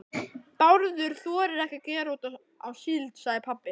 Bárður þorir ekki að gera út á síld, sagði pabbi.